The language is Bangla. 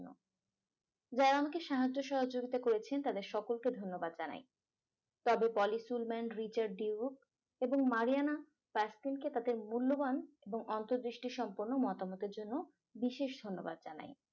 যারা আমাকে সাহায্য সহযোগিতা করেছেন তাদের সকলকে ধন্যবাদ জানাই তবে poly film man richard dweck এবং marijuana fasting কে তাদের মূল্যবান এবং অন্তর্দৃষ্টি সম্পন্ন মতামতের জন্য বিশেষ ধন্যবাদ জানাই